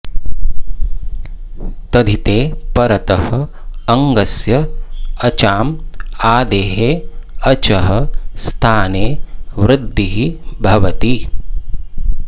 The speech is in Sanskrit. तद्धिते परतः अङ्गस्य अचाम् आदेः अचः स्थाने वृद्धिः भवति